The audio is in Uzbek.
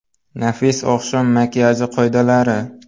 Nafis oqshom makiyaji qoidalari.